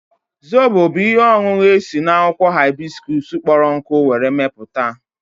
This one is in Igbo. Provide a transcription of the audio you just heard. Zobo bụ ihe ọṅụṅụ esi n'akwụkwọ haibiskuus kpọrọ nkụ were mepụta